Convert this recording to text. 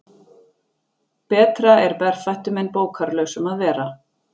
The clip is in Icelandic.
Betra er berfættum en bókarlausum að vera.